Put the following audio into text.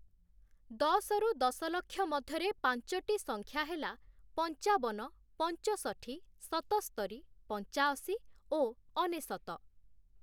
ଦଶରୁ ଦଶଲକ୍ଷ ମଧ୍ୟରେ ପାଞ୍ଚଟି ସଂଖ୍ୟା ହେଲା, ପଞ୍ଚାବନ, ପଞ୍ଚଷଠି, ସତସ୍ତରୀ, ପଞ୍ଚାଅଶୀ ଓ ଅନେଶତ ।